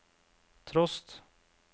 trost